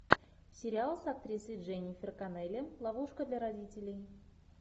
сериал с актрисой дженнифер коннелли ловушка для родителей